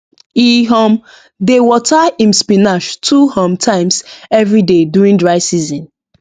e um dey water him spinach two um times everyday during dry season